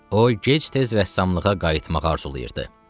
O gec-tez rəssamlığa qayıtmağı arzulayırdı.